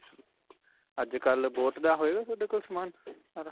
ਅੱਜਕਲ੍ਹ boat ਦਾ ਹੋਵੇਗਾ ਤੁਹਾਡੇ ਕੋਲ ਸਮਾਨ ਸਾਰਾ?